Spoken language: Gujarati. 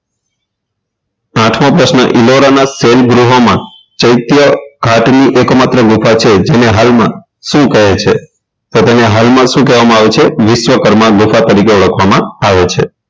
આઠમો પ્રશ્ન ઇલોરાના શૈન ગૃહોમાં ચૈત્ય ખાતની એકમાત્ર ગુફા છે જેને હાલમાં શું કહે છે તો તેને હાલમાં શું કહેવામાં આવે છે વિશ્વકર્મા ગુફા તરીકે ઓળખવામાં આવે છે